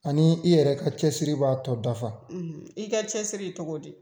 Ani i yɛrɛ ka cɛsiri b'a tɔ dafa i ka cɛsiri i cogo di?